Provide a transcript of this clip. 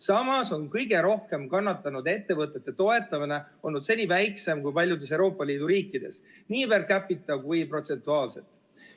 Samas on meil kõige rohkem kannatanud ettevõtete toetamine olnud seni väiksem kui paljudes teistes Euroopa Liidu riikides – nii per capita kui ka protsentuaalselt.